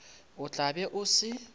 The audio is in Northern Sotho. o tla be o se